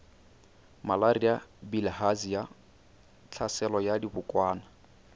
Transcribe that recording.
malaria bilharzia tlhaselo ya dibokwana